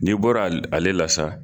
N'i bɔra ale la sa